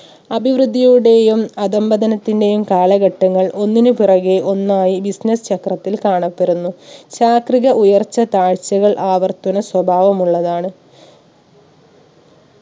അഭിവൃദ്ധിയുടെയും അധംപതനത്തിന്റെയും കാലഘട്ടങ്ങൾ ഒന്നിന് പിറകെ ഒന്നായി business ചക്രത്തിൽ കാണപ്പെടുന്നു. ചാക്രിക ഉയർച്ച താഴ്ചകൾ ആവർത്തന സ്വഭാവമുള്ളതാണ്